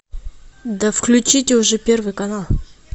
да включите уже первый канал